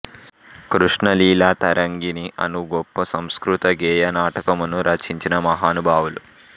కృష్ణ లీలా తరంగిణి అను గొప్ప సంస్కృత గేయ నాటకమును రచించిన మహానుభావులు